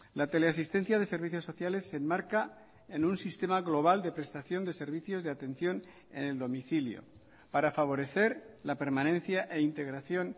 la teleasistencia de servicios sociales se enmarca en un sistema global de prestación de servicios de atención en el domicilio para favorecer la permanencia e integración